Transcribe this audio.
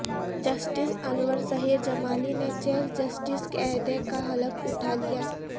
justice Anwar Zaheer Jamali نے chief justice کے عہدے کا حلف اٹھا لیا